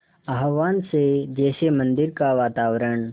आह्वान से जैसे मंदिर का वातावरण